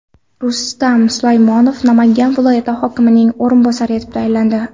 Rustam Sulaymonov Namangan viloyat hokimining o‘rinbosari etib tayinlandi.